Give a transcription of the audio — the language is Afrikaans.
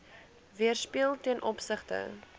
weerspieël ten opsigte